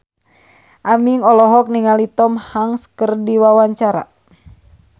Aming olohok ningali Tom Hanks keur diwawancara